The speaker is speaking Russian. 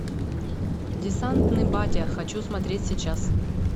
десантный батя хочу смотреть сейчас